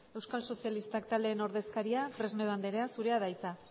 euskal sozialistak taldeen ordezkaria fresnedo andrea zurea da hitza